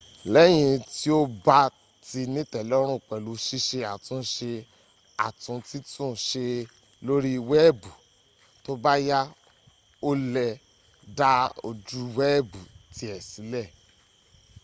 lẹ́yìn tí o bá ti nítẹ̀lọ́rùn pẹ̀lú ṣíṣe àtúnṣe àtun títún ṣe lóri wẹ́ẹ̀bù tóbáyá o lẹ̀ dá ojúwẹ́ẹ̀bù tię sílẹ̀